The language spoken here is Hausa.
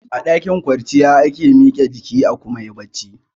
A ɗakin kwanciya ake mike jiki a kuma yi barci